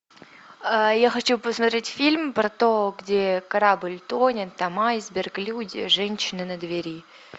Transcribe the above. я хочу посмотреть фильм про то где корабль тонет там айсберг люди женщина на двери